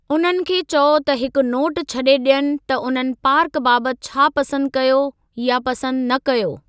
उन्हनि खे चओ त हिकु नोटु छॾे ॾियनि त उन्हनि पार्क बाबति छा पसंदि कयो या पसंदि न कयो।